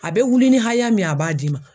A bɛ wuli ni haya min ye a b'a d'i ma.